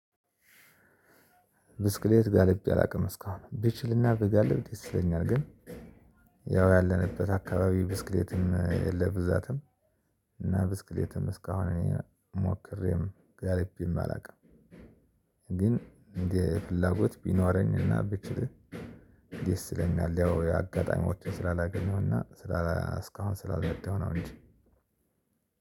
ብስክሌት ጋልቤ አላውቅም እስካሁን ብችልና ብጋልብ ይስይለኛል ግን ያው ያለንበት አከባቢ ብስክሌትም የለም ብዛትም እና ብስክሌትም ሞክሬም ጋልቤም አላውቅም። ግን እንደ ፍላጎት ቢኖረኝና ብችል ደስ ይለኛል። ያው አጋጣሚዎችን ስላላገኘውና ስላላ እስካሁን ስላልነዳው ነው እንጂ።